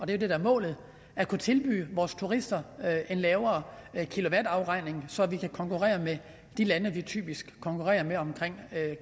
det der er målet at kunne tilbyde vores turister en lavere kilowattafregning så vi kan konkurrere med de lande vi typisk konkurrerer med om